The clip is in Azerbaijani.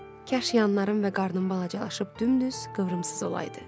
Kaş yanlarım və qarnım balacalaşıb dümdüz, qıvrımsız olaydı.